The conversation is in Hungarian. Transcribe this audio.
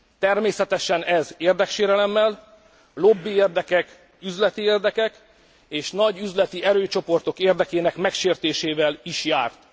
Természetesen ez érdeksérelemmel, lobbiérdekek, üzleti érdekek és nagy üzleti erőcsoportok érdekének megsértésével is járt.